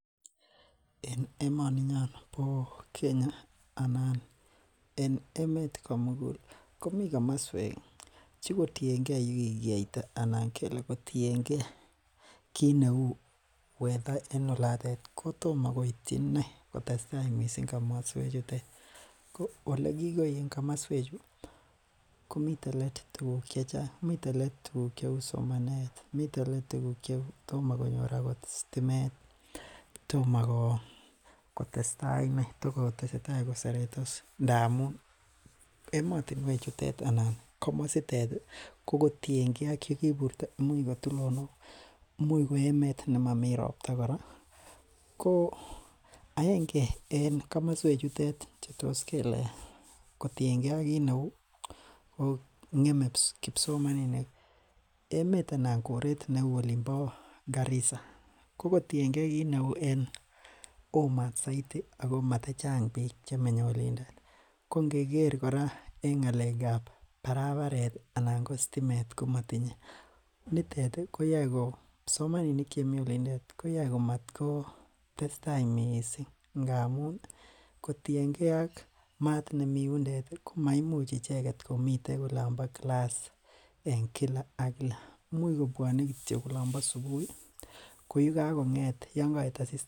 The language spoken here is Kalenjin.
En emoninyon bo kenya anan en emet komugul komi komoswek chekotienge yekikiyaita ala kotienge kit neu weather en olatet kotomokoityi inei kotestaa missing komoswe chutet ko ole kikoi en komoswechu komiten let tuguk chechang miten let tuguk cheu somanet, miten let tuguk cheu tomo konyor akot sitimet, tomo kotestai inei takotesetai koseretos inei ndamun emotinwechutet anan komositet ii kokotiengee ak yekiburto imuch kotulonok, imuch ko emet nemomii ropta kora koo aenge en komoswechutet chetos kele kotienge kii neu ko ngeme kipsomaninik emet anan koret neu olimpo Garissa kokotiengee kit neu oo mat saidi ako mata chang biik chemenye olotet kongeker kora en ng'alekab barabaret ii anan ko sitimet komotinye nitet koyoe ko kipsomaninik chemi olintet koyoe komat kotesta missing ngamun kotiengee ak mat nemi yundet komaimuch icheket komiten olompo class en kila ak kila imuch kityo kobwonee olompo subui koyeka kong'et yongoet asistaa.